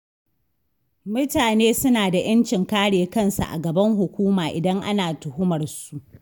Mutane suna da 'yancin kare kansu a gaban hukuma, idan ana tuhumarsu.